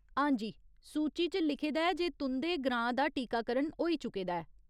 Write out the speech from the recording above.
हां जी, सूची च लिखे दा ऐ जे तुं'दे ग्रां दा टीकाकरण होई चुके दा ऐ।